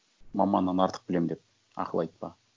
маманнан артық білемін деп ақыл айтпа